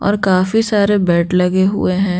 और काफी सारे बेड लगे हुए हैं।